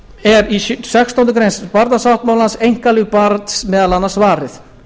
er í sextándu grein barnasáttmálans einkalíf barns meðal annars varið